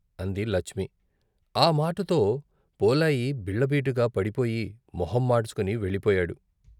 అంది లచ్మి. ఆ మాటతో పోలాయి బిల్లబీటుగా పడిపోయి మొహం మాడ్చుకొని వెళ్ళి పోయాడు.